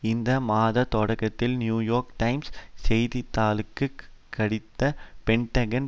இந்த மாதத் தொடக்கத்தில் நியூயோர்க் டைம்ஸ் செய்தித்தாளுக்கு கசிந்த பென்டகனின்